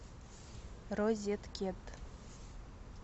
розеткед